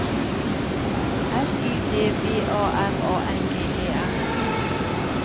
S Y D V A R A N G E R